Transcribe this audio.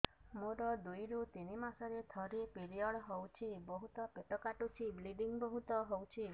ମୋର ଦୁଇରୁ ତିନି ମାସରେ ଥରେ ପିରିଅଡ଼ ହଉଛି ବହୁତ ପେଟ କାଟୁଛି ବ୍ଲିଡ଼ିଙ୍ଗ ବହୁତ ହଉଛି